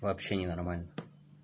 вообще ненормально